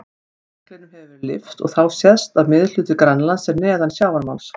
Jöklinum hefur verið lyft og þá sést að miðhluti Grænlands er neðan sjávarmáls.